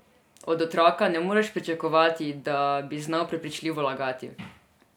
Od otroka ne moreš pričakovati, da bi znal prepričljivo lagati.